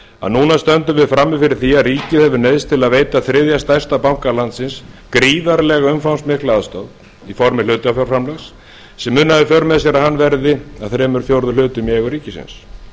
að núna stöndum við frammi fyrir því að ríkið hefur neyðst til að veita þriðja stærsta banka landsins gríðarlega umfangsmikla aðstoð í formi hlutafjárframlags sem mun hafa í för með sér að hann verði að þrír fjórðu í eigu ríkisins